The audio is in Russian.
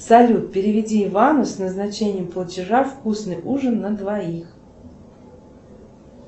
салют переведи ивану с назначением платежа вкусный ужин на двоих